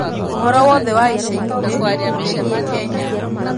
ũhoro wothe wa ica ikuhĩ wĩgiĩ kenya